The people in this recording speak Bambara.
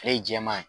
Ale ye jɛman ye